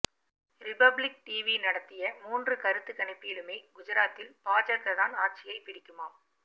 republic TV நடத்திய மூன்று கருத்து கணிப்பிலுமே குஜராத்தில் பாஜக தான் ஆட்சியை புடிக்குமாம்